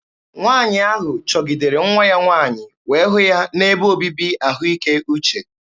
Nwaanyị ahụ chọgidere nwa ya nwaanyị wee hụ ya n'ebe obibi ahụike uche.